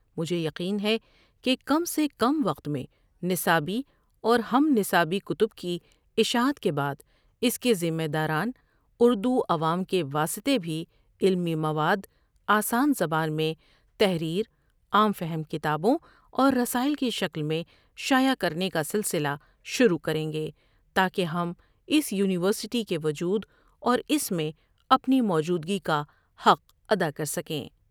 مجھے یقین ہے کہ کم سے کم وقت میں نصابی اور ہم نصابی کتب کی اشاعت کے بعد اس کے ذمہ داران، اردو عوام کے واسطے بھی علمی مواد، آسان زبان میں تحریر عام فہم کتابوں اور رساٮٔل کی شکل میں شاٮٔع کرنے کا سلسلہ شروع کریں گے تاکہ ہم اس یونیورسٹی کے وجود اور اسِ میں اپنی موجودگی کا حق ادا کر سکیں۔